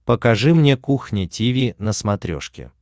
покажи мне кухня тиви на смотрешке